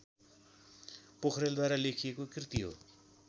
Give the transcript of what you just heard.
पोखरेलद्वारा लेखिएको कृति हो